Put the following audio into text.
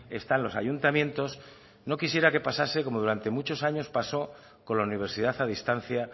están los ayuntamientos no quisiera que pasase como durante muchos años pasó con la universidad a distancia